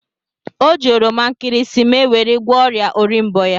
O ji oroma nkịrịsịmee weri gwoọ oria orimbo ya.